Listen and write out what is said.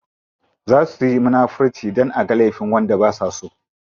Za suyi munafirci dan aga laifin wanda basa so.